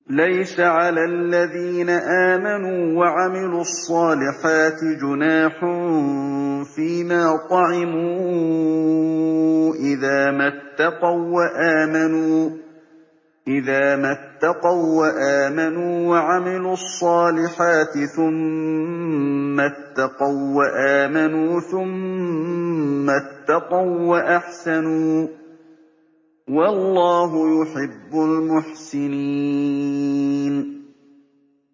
لَيْسَ عَلَى الَّذِينَ آمَنُوا وَعَمِلُوا الصَّالِحَاتِ جُنَاحٌ فِيمَا طَعِمُوا إِذَا مَا اتَّقَوا وَّآمَنُوا وَعَمِلُوا الصَّالِحَاتِ ثُمَّ اتَّقَوا وَّآمَنُوا ثُمَّ اتَّقَوا وَّأَحْسَنُوا ۗ وَاللَّهُ يُحِبُّ الْمُحْسِنِينَ